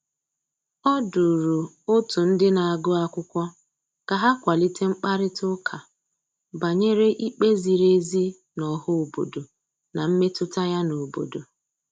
O duru otu ndị na-agụ akwụkwọ ka ha kwalite mkparịtaụka banyere ikpe ziri ezi n' ọha obodo na mmetụta ya n'obodo.